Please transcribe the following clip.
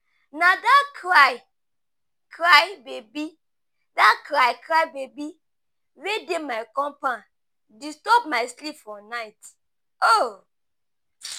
Na dat cry-cry baby dat cry-cry baby wey dey my compound disturb my sleep for night.